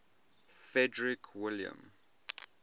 frederick william